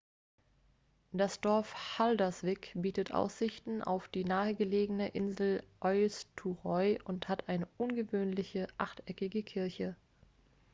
das dorf haldarsvík bietet aussichten auf die nahegelegene insel eysturoy und hat eine ungewöhnliche achteckige kirche